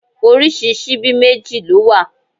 Oríṣi síbí méjì ló wà.